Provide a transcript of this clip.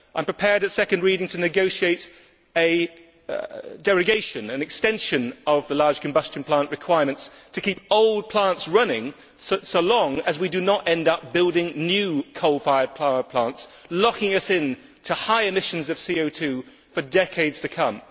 I am prepared at second reading to negotiate a derogation an extension of the large combustion plant requirements to keep old plants running so long as we do not end up building new coal fired power plants, locking us into high emissions of CO 2 for decades to come.